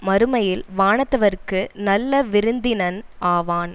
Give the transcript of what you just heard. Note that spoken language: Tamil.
மறுமையில் வானத்தவர்க்கு நல்ல விருந்தினன் ஆவான்